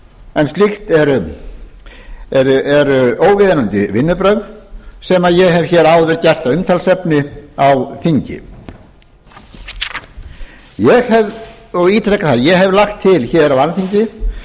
en slíkt eru óviðunandi vinnubrögð sem ég hef hér áður gert að umtalsefni á þingi ég hef lagt til á alþingi